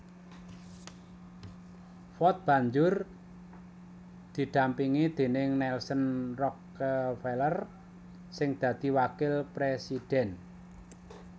Ford banjur didampingi déning Nelson Rockefeller sing dadi wakil présidhèn